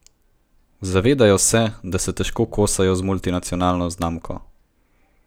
Zavedajo se, da se težko kosajo z multinacionalno znamko.